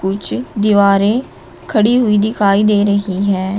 कुछ दीवारें खड़ी हुई दिखाई दे रही हैं।